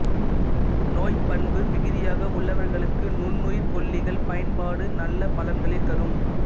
நோய் பண்பு மிகுதியாக உள்ளவர்களுக்கு நுண்ணுயிர் கொல்லிகள் பயன்பாடு நல்ல பலன்களை தரும்